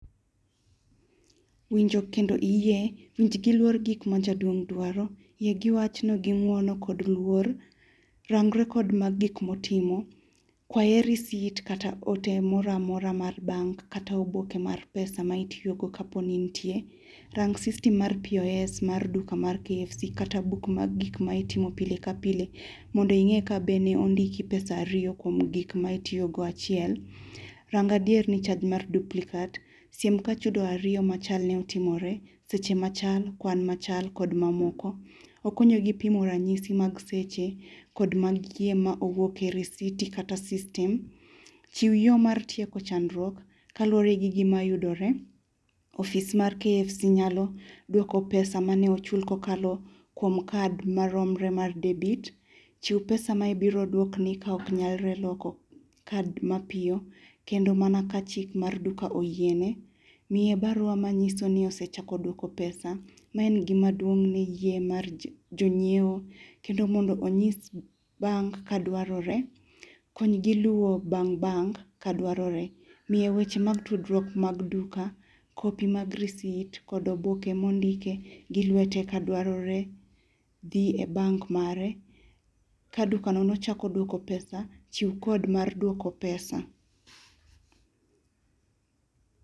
Winjo kendo iyie, winj gi luor gik ma jaduong' dwaro, yie giwachno gi ng'uono kod luor, rangri kod mag gikmotimo, kwaye receipt kata ote moramora mar bank kata oboke mar pesa ma itiyogo kaponi nitie .Rang system mar POS mar duka mar KFC kata book mag gik ma itimo pile ka pile mondo ing'e kabene ondiki pesa ariyo kuom gik ma itiyogo achiel rang adier ni charge mar duplicat sim kachudo ariyo machal ni otimore seche machal ,kwan machal kod mamoko. Okonyigi pimo ranyisi mag seche kod mag kie ma owuoke risiti kata system. Chiw yoo mar tieko chandruok kaluore gi gima yudoree office mar [cs KFC] nyalo duoko pesa mane ochul kokalo kuom card maromre mar debit chiw pesa ma ibiro oduokni ka ok nyalre loko card mapiyo kendo mana kachik mar duka oyiene, miye[cs barua manyiso ni osechako duoko pesa ma en gima duong' ni yie mar jonyieo , kendo mondo onyis[cs bank kadwaroree konygi luwo bang' bank kadwaroree, miye weche mag tudruok mag duka[cs copy mag receipt kod oboke mondike gi lwete kadwaroree , dhi e bank [cs mare ka duka nochako duoko pesa chiw [code mar duoko pesa.